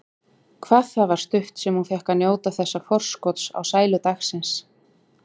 Hvað það var stutt sem hún fékk að njóta þessa forskots á sælu dagsins.